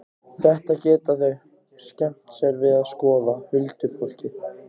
Þetta geta þau skemmt sér við að skoða, huldufólkið.